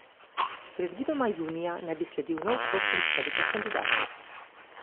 Predvidoma junija naj bi sledil nov krog predstavitev kandidatov.